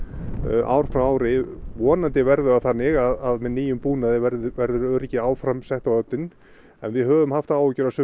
ár frá ári vonandi verður það þannig að með nýjum búnaði verður verður öryggi áfram sett á oddinn en við höfum haft áhyggjur af sumum